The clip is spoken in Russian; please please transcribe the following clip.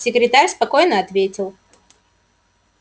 секретарь спокойно ответил